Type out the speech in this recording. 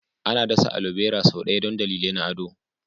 Ana dasa alobera sau da yawa don dalilai na ado.